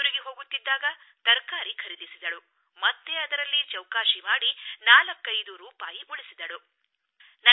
ಹಿಂದಿರುಗಿ ಹೋಗುತ್ತಿದ್ದಾಗ ತರಕಾರಿ ಖರೀದಿಸಿದಳು ಮತ್ತೆ ಅದರಲ್ಲಿ ಚೌಕಾಶಿ ಮಾಡಿ 45 ರೂಪಾಯಿ ಉಳಿಸಿದಳು